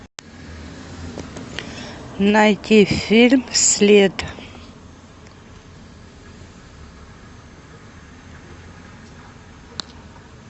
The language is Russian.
найти фильм след